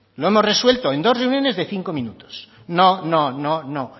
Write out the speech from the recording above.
lo hemos resuelto en dos reuniones de cinco minutos no no